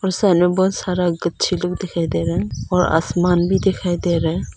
में बहुत सारा गच्छे लोग दिखाई दे रहे और आसमान भी दिखाई दे रहा है।